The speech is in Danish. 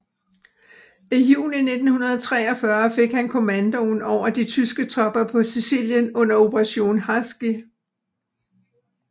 I juni 1943 fik han kommandoen over de tyske tropper på Sicilien under Operation Husky